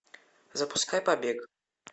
запускай побег